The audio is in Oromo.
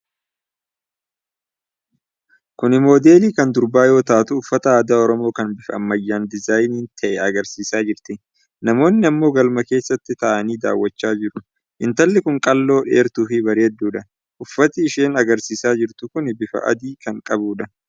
Kuni Moodeli kan durbaa yoo taatu, uffata aadaa Oromoo kan bifa ammayyaan diizaayin ta'e agarsiisaa jirti. Namoonni ammoo galma keessa taa'anii daawwachaa jiru. Intalli kun qal'oo dheertuu fi bareeddudha. Uffati isheen agarsiisaa jirtu kun bifa adii kan qabuudha.